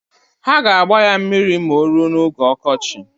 Ha g'agba ya mmiri ma oruo n'oge okochi.